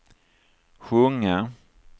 sjunga